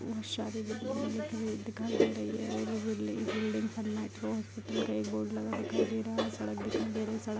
बहुत सारे बिल्डिंग दिखाई दिखाई दे रही है और वो बिल्डिंग हॉस्पिटल का बोर्ड दिखाई दे रहा है एक सड़क दिखाई दे रही है सड़क --